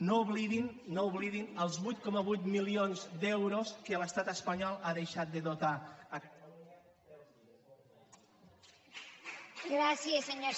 no oblidin no oblidin els vuit coma vuit milions d’euros que l’estat espanyol ha deixat de dotar a catalunya per als llibres